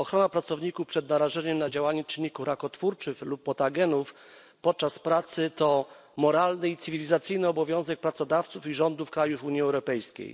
Ochrona pracowników przed narażeniem na działanie czynników rakotwórczych lub mutagenów podczas pracy to moralny i cywilizacyjny obowiązek pracodawców i rządów krajów Unii Europejskiej.